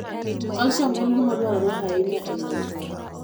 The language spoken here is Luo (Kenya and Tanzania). Calcium en gima dwarore ahinya e nyuolo tong'.